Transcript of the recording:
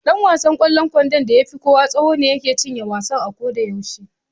Ɗan wasan ƙwallon kwandon da ya fi kowa tsawo ne yake cinye wasan ko da yaushe.